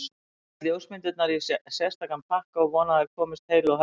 Ég læt ljósmyndirnar í sérstakan pakka og vona að þær komist heilu og höldnu.